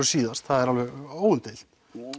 síðast það er alveg óumdeilt